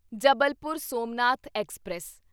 Jabalpur Somnath express